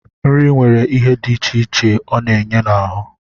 Nri nwere ihe dị iche iche ọ na-enye n'ahụ